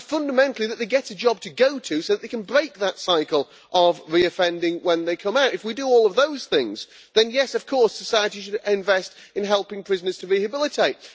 and, fundamentally, that they get a job to go to, so they can break the cycle of reoffending when they come out. If we do all of those things, then, yes, of course society should invest in helping prisoners to rehabilitate.